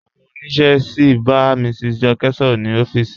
Awọn ọniṣẹ sí n bá Mrs Jọkẹ sọ̀rọ̀ ni ọ̀fíìsì.